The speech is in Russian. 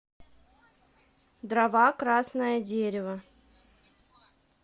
дрова красное дерево